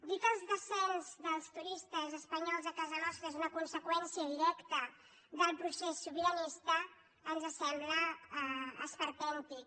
dir que el descens dels turistes espanyols a casa nostra és una conseqüència directa del procés sobiranista ens sembla esperpèntic